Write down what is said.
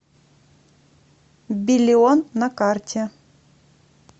биллион на карте